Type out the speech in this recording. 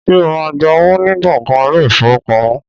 Ṣé o máa ń gba owó ní gbọ̀ngàn ilé-ìfowópamọ́?